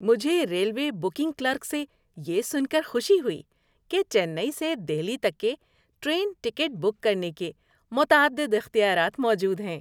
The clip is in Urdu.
مجھے ریلوے بکنگ کلرک سے یہ سن کر خوشی ہوئی کہ چنئی سے دہلی تک کے ٹرین ٹکٹ بک کرنے کے متعدد اختیارات موجود ہیں۔